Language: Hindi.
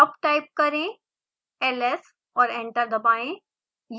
अब टाइप करें: ls और एंटर दबाएं